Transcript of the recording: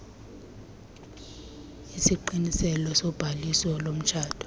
isiqiniselo sobhaliso lomtshato